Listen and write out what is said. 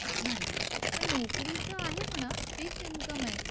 नाही पण नोकरीचं आहे म्हणा, फिक्स इन्कम आहे